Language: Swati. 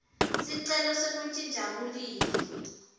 sicelo sekuntjintja bulili